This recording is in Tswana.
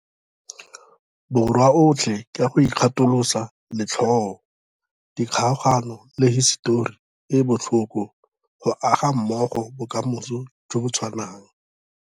Borwa otlhe ka go ikgatholosa letlhoo, dikgaogano le hisetori e e botlhoko go aga mmogo bokamoso jo bo tshwanang.